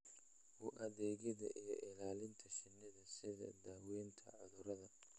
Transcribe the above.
u adeegida iyo ilaalinta shinnida, sida daaweynta cudurrada,